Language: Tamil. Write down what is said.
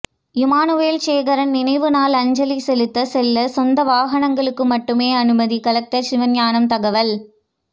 இமானுவேல் சேகரன் நினைவு நாள் அஞ்சலி செலுத்த செல்ல சொந்த வாகனங்களுக்கு மட்டும் அனுமதி கலெக்டர் சிவஞானம் தகவல்